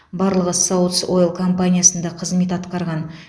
барлығы саутс ойл компаниясында қызмет атқарған